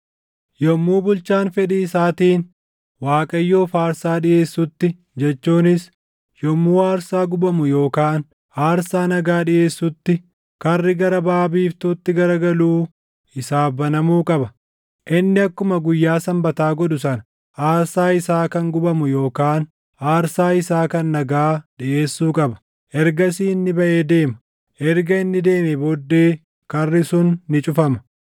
Yommuu bulchaan fedhii isaatiin Waaqayyoof aarsaa dhiʼeessutti jechuunis yommuu aarsaa gubamu yookaan aarsaa nagaa dhiʼeessutti karri gara baʼa biiftuutti garagaluu isaaf banamuu qaba. Inni akkuma guyyaa Sanbataa godhu sana aarsaa isaa kan gubamu yookaan aarsaa isaa kan nagaa dhiʼeessuu qaba. Ergasii inni baʼee deema; erga inni deemee booddee karri sun ni cufama.